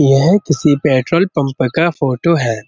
यह किसी petrol pump का फ़ोटो है।